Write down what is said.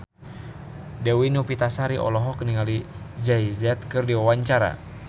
Dewi Novitasari olohok ningali Jay Z keur diwawancara